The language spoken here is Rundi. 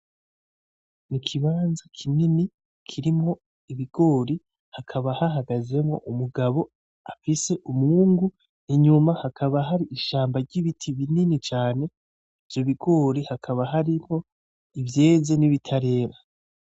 Nikibanza kinini kirmwo ibigori hakaba hahagazemwo umugabo afise umwungu inyuma hakaba hari ishamba ry'ibiti binini cane ivyo bigori hakaba hariho ivyeze nibitarera .